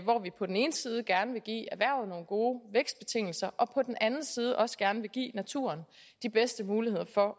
vi på den ene side gerne vil give erhvervet nogle gode vækstbetingelser og på den anden side også gerne vil give naturen de bedste muligheder for